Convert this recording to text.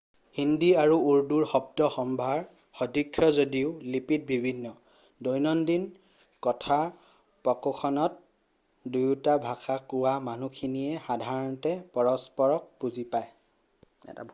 হিন্দী আৰু উৰ্দু শব্দ-সম্ভাৰ স্দৃশ যদিও লিপিত ভিন্ন দৈনন্দিন কথোপকথনত দুয়োটা ভাষা কোৱা মানুহখিনিয়ে সাধাৰণতে পৰস্পৰক বুজি পায়